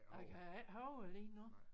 Jeg kan ikke huske det lige nu